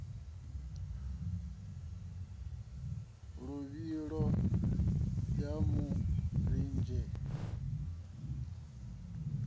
luvhilo ya mu ḽidzela bele